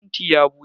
Fentin ya bushe.